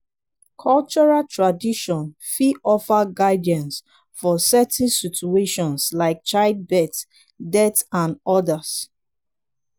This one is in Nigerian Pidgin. cultural traditon fit offer guidance for certain situations like child birth death and odas